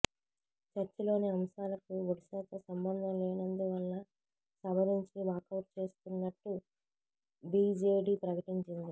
చర్చలోని అంశాలకు ఒడిశాతో సంబంధం లేనందు వల్ల సభ నుంచి వాకౌట్ చేస్తున్నట్టు బిజెడి ప్రకటించింది